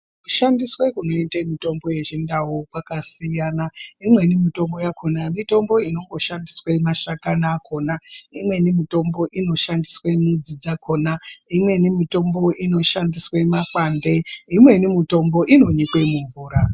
Kushandiswe kunoitwe mitombo yechindau kwakasiyana imweni mitombo yakona mitombo inongoshandiswe mashakani akona imweni mitombo inoshandiswe midzi dzakona imweni mitombo inoshandiswe makwande .